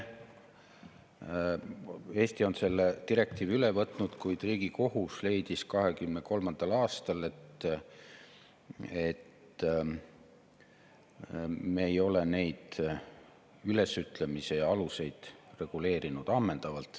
Eesti on selle direktiivi üle võtnud, kuid Riigikohus leidis 2023. aastal, et me ei ole neid ülesütlemise aluseid ammendavalt reguleerinud.